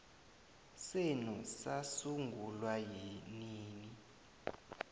yenu sasungulwa nini